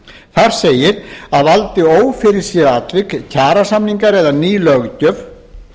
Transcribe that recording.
þar segir að valdi ófyrirséð atvik kjarasamningar eða ný löggjöf